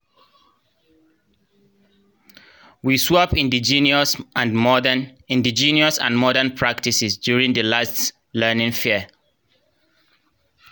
we swap indigenous and modern indigenous and modern practices during di last learning fair